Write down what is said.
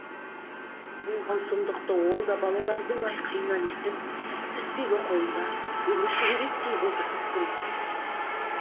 болған сұмдықты ол да балалардың айқайынан естіп піспегі қолында өңі шүберектей бозарып тұр екен